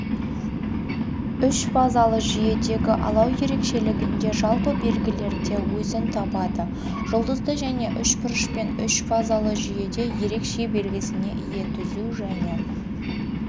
үшфазалы жүйедегі алау ерекшелігінде жалпы белгілерде өзін табады жұлдызды және үшбұрышпен үшфазалы жүйеде ерекше белгісіне ие түзу және